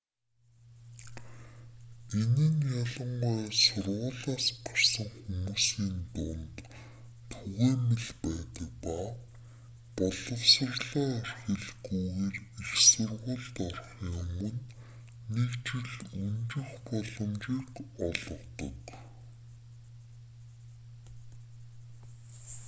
энэ нь ялангуяа сургуулиас гарсан хүмүүсийн дунд түгээмэл байдаг ба боловсролоо орхилгүйгээр их сургуульд орохын өмнө нэг жил өнжих боломжийг олгодог